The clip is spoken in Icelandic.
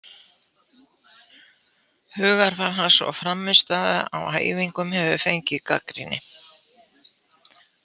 Hugarfar hans og frammistaða á æfingum hefur fengið gagnrýni.